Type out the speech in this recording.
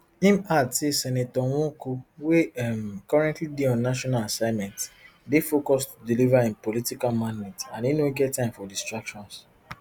im add say senator nwoko wey um currently dey on national assignment dey focused to deliver im political mandate and im no get time for distractions